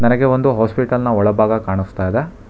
ನನಗೆ ಒಂದು ಹಾಸ್ಪಿಟಲ್ನ ಒಳಭಾಗ ಕಾಣಿಸ್ತಾ ಇದೆ.